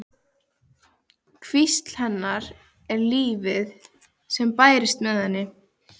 Hvísl hennar við lífið sem bærist með henni.